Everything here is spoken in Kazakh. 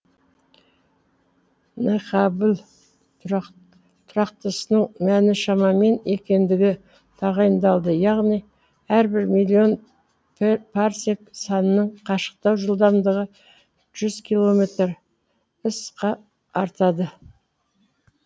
н хаббл тұрақтысының мәні шамамен екендігі тағайындалды яғни әрбір миллион парсек санының қашықтау жылдамдығы жүз километр артады